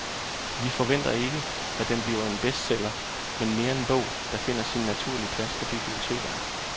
Vi forventer ikke, at den bliver en bestseller men mere en bog, der finder sin naturlige plads på bibliotekerne.